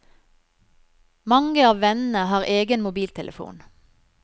Mange av vennene har egen mobiltelefon.